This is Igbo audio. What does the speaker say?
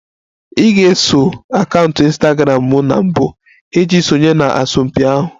Ị ga-eso akaụntụ Ịnstagramụ m na mbụ iji sonye na asọmpi ahụ